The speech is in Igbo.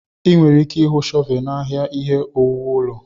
Ị nwere ike ịhụ shọvelu n'ahịa ihe owuwu ụlọ.